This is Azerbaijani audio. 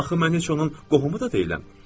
Axı mən heç onun qohumu da deyiləm.